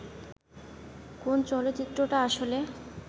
কোন চলচ্চিত্রটা আসলে